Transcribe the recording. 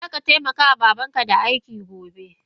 Zaka taimaka ma babanka da aiki gobe!